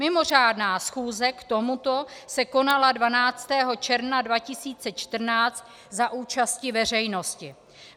Mimořádná schůze k tomuto se konala 12. června 2014 za účasti veřejnosti.